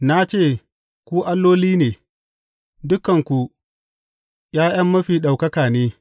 Na ce, Ku alloli ne; dukanku ’ya’yan Mafi Ɗaukaka’ ne.